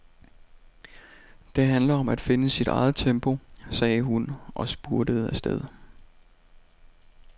Det handler om at finde sit eget tempo, sagde hun og spurtede afsted.